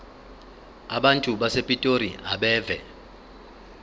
abantu basepitoli abeve